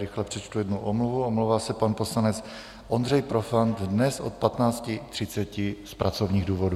Rychle přečtu jednu omluvu, omlouvá se pan poslanec Ondřej Profant dnes od 15.30 z pracovních důvodů.